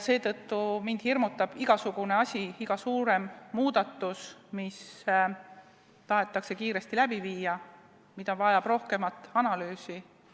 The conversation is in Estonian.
Seetõttu hirmutab mind igasugune asi, iga suurem muudatus, mis tahetakse kiiresti läbi viia, aga mis vajab rohkem analüüsi.